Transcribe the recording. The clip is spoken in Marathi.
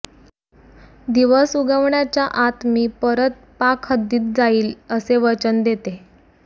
दिवस उगवण्याच्या आत मी परत पाक हद्दीत जाईल असे वचन देते